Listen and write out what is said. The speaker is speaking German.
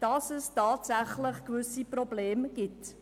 Sie schreibt, dass es tatsächlich gewisse Probleme gebe.